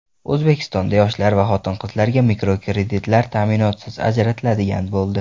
O‘zbekistonda yoshlar va xotin-qizlarga mikrokreditlar ta’minotsiz ajratiladigan bo‘ldi.